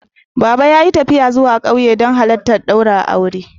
Baba ya yi tafiya zuwa ƙauye don halittar ɗaurin aure